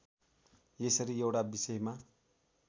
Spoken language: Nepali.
यसरी एउटा विषयमा